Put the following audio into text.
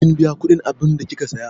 Kin biya kudin abunda kika Siya?